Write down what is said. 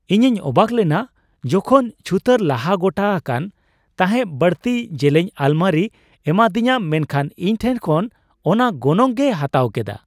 ᱤᱧᱤᱧ ᱚᱵᱟᱠ ᱞᱮᱱᱟ ᱡᱚᱠᱷᱚᱱ ᱪᱷᱩᱛᱟᱹᱨ ᱞᱟᱦᱟ ᱜᱚᱴᱟ ᱟᱠᱟᱱ ᱛᱟᱦᱮᱸᱜ ᱵᱟᱹᱲᱛᱤ ᱡᱮᱞᱮᱧ ᱟᱞᱢᱟᱨᱤᱭ ᱮᱢᱟᱫᱤᱧᱟ, ᱢᱮᱱᱠᱷᱟᱱ ᱤᱧ ᱴᱷᱮᱱ ᱠᱷᱚᱱ ᱚᱱᱟ ᱜᱚᱱᱚᱝ ᱜᱮᱭ ᱦᱟᱛᱟᱣ ᱠᱮᱫᱟ ᱾